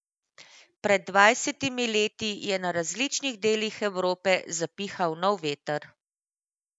Pred dvajsetimi leti je na različnih delih Evrope zapihal nov veter.